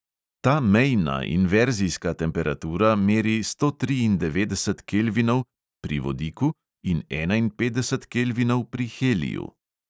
Ta mejna, inverzijska temperatura meri sto triindevetdeset kelvinov pri vodiku in enainpetdeset kelvinov pri heliju.